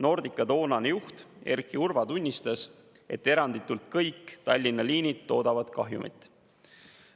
Nordica toonane juht Erki Urva tunnistas, et eranditult kõik Tallinna liinid tootsid kahjumit.